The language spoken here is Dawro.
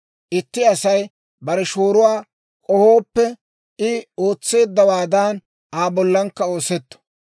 Itti Asay bare shooruwaa k'ohooppe, I ootseeddawaadan Aa bollankka oosetto.